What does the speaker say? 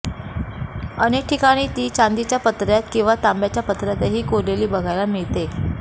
अनेक ठिकाणी ती चांदीच्या पत्र्यात किंवा तांब्याच्या पत्र्यातही कोरलेली बघायला मिळते